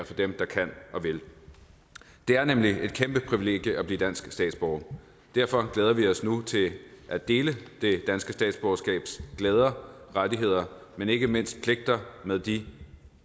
for dem der kan og vil det er nemlig et kæmpe privilegie at blive dansk statsborger derfor glæder vi os nu til at dele det danske statsborgerskabs glæder og rettigheder men ikke mindst pligter med de